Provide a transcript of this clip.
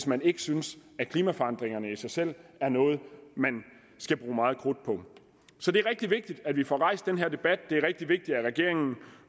man ikke synes at klimaforandringerne i sig selv er noget man skal bruge meget krudt på så det er rigtig vigtigt at vi får rejst den her debat det er rigtig vigtigt at regeringen